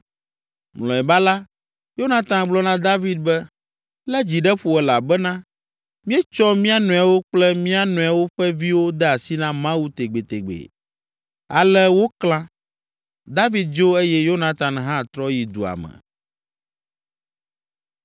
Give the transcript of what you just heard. Mlɔeba la, Yonatan gblɔ na David be, “Lé dzi ɖe ƒo elabena míetsɔ mía nɔewo kple mía nɔewo ƒe viwo de asi na Mawu tegbetegbe.” Ale woklã. David dzo eye Yonatan hã trɔ yi dua me.